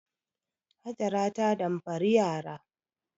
Hajara ta damfari yara.